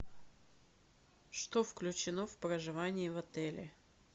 что включено в проживание в отеле